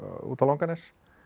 út á Langanes